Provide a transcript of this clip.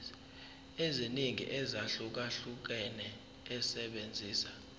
eziningi ezahlukahlukene esebenzisa